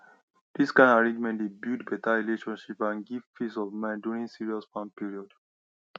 this kind arrangement dey build better relationship and give peace of mind during serious farm period